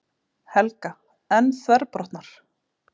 Helga: En þverbrotnar?